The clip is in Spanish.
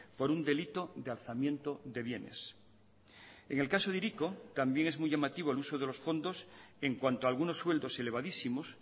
por un delito de alzamiento de bienes en el caso de hiriko también es muy llamativo el uso de los fondos en cuanto a algunos sueldos elevadísimos